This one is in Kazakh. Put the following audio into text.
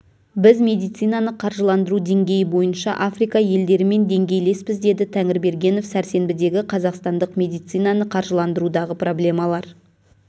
біз медицинаны қаржыландыру деңгейі бойынша африка елдерімен деңгейлеспіз деді тәңірбергенов сәрсенбідегі қазақстандық медицинаны қаржыландырудағы проблемалар